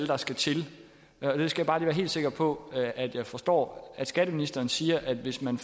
der skal til jeg skal bare lige være helt sikker på at jeg forstår skatteministeren siger at hvis man